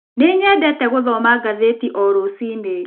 Nĩ nyendete gũthoma ngathĩti o rũcinĩ.